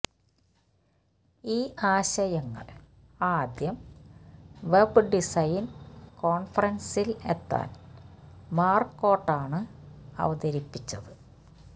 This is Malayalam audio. ഈ ആശയങ്ങൾ ആദ്യം വെബ് ഡിസൈൻ കോൺഫറൻസിൽ ഏത്തൻ മാർക്കോട്ടാണ് അവതരിപ്പിച്ചത്